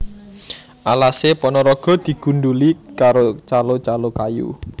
Alase Ponorogo digundhuli karo calo calo kayu